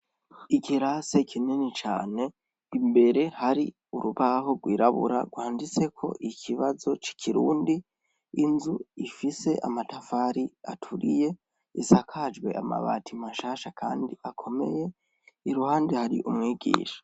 Ikirase kinini cane, imbere hari urubaho gwirabura gwanditseko ikibazo c’Ikirundi, Inzu ifise amatafari aturiye, isakajwe amabati mashasha Kandi akomeye, iruhande hari umwigisha.